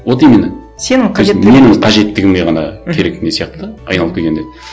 вот именно сенің менің қажеттігіме ғана керек не сияқты да айналып келгенде